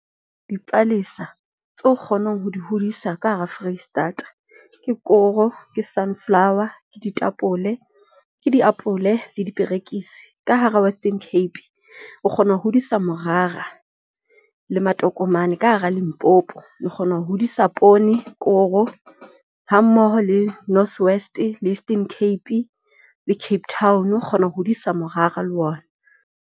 Dipalesa tse o kgonang ho di hodisa ka hara Foreisetata, ke koro, ke sunflower, ke ditapole, ke diapole le diperekisi. Ka hara Western Cape o kgona ho hodisa morara le matokomane. Ka hara Limpopo o kgona ho hodisa poone, koro hammoho le North West le Eastern Cape le Cape Town o kgona ho hodisa morara le ona.